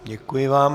Děkuji vám.